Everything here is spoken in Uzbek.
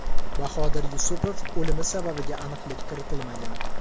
Bahodir Yusupov o‘limi sababiga aniqlik kiritilmagan.